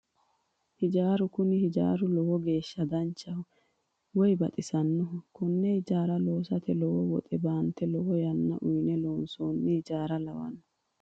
Hijaara kuni hijaari lowo geeshsha danchaho woyi baxisannoho konne hijaara loosate lowo woxe baante lowo yanna uyine loonsoonni hijaara lawanno